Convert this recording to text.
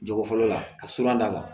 Jogo fɔlɔ la ka surun da la